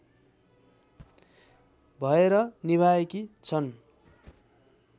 भएर निभाएकी छन्